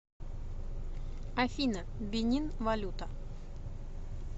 афина бенин валюта